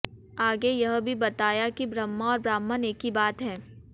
आगे यह भी बताया कि ब्रह्म और ब्राह्मण एक ही बात है